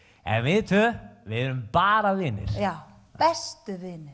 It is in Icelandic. en við tvö erum bara vinir já bestu vinir